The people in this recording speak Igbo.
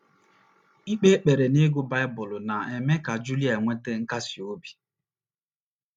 Ikpe ekpere na ịgụ Baịbụl na - eme ka Julia nweta nkasi obi.